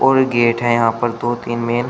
और गेट हैं यहां पर दो तीन मेन --